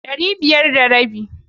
Ɗani biyar da rabi.